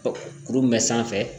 Kurun bɛ sanfɛ